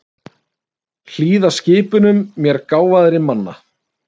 Hlýða skipunum mér gáfaðri manna.